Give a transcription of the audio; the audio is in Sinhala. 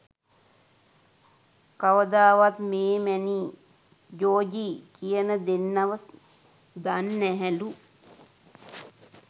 කවදාවත් මේ මැනීයි ජෝජොයි කියනදෙන්නව දන්නැහැලු.